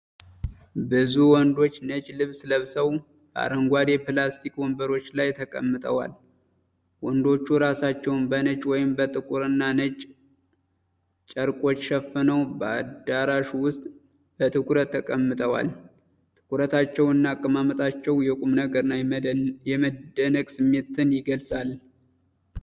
ብዙ ወንዶች ነጭ ልብስ ለብሰው፣ በአረንጓዴ ፕላስቲክ ወንበሮች ላይ ተቀምጠዋል። ወንዶቹ ራሳቸውን በነጭ ወይም በጥቁርና ነጭ ጨርቆች ሸፍነው በአዳራሹ ውስጥ በትኩረት ተቀምጠዋል። ትኩረታቸውና አቀማመጣቸው የቁምነገርና የመደነቅ ስሜትን ይገልፃል።